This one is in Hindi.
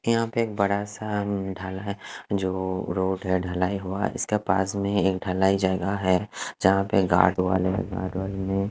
यहा पे एक बड़ा सा ढाला है जो रोड ढला हुआ है इसके पास में एक ढलाई जगा है जहा पे गार्ड वाले --